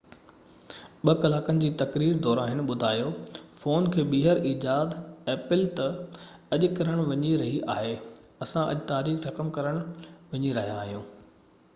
2 ڪلاڪن جي تقرير دوران هن ٻڌايو ته اڄ apple فون کي ٻيهر ايجاد ڪرڻ وڃي رهي آهي اسان اڄ تاريخ رقم ڪرڻ وڃي رهيا آهيون